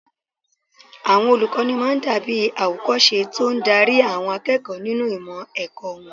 Àwọn olùkọ́ máa dàbí àwòkọ́ṣe tó ń darí àwọn akẹ́kọ̀ọ́ nínú ìmọ̀ ẹ̀kọ́ wọn